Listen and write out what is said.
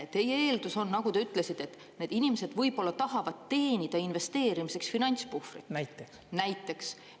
Teie eeldus on, nagu te ütlesite, et need inimesed võib-olla tahavad teenida investeerimiseks finantspuhvrit, näiteks.